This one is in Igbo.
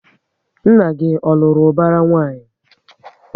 Nna gị ọ lụrụ ubara nwanyị?